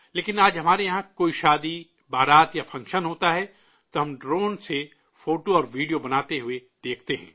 لیکن آج ہمارے یہاں کوئی شادی بارات یا فنکشن ہوتا ہے تو ہم ڈرون سے فوٹو اور ویڈیو بناتے ہوئے دیکھتے ہیں